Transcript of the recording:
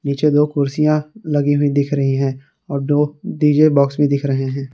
नीचे दो कुर्सियां लगी हुई दिख रही है और दो डी_जे बॉक्स में दिख रहे हैं।